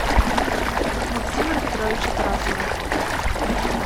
максима петровича тарасова